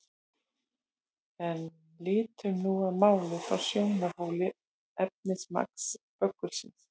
En lítum nú á málið frá sjónarhóli efnismagns böggulsins.